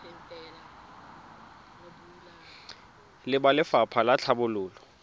le ba lefapha la tlhabololo